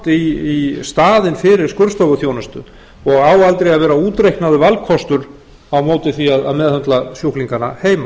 í staðinn fyrir skurðstofuþjónustu og á aldrei að vera útreiknaður valkostur á móti því að meðhöndla sjúklingana heima